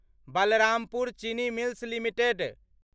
Balrampur Chini mills limited